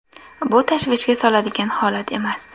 Bu tashvishga soladigan holat emas.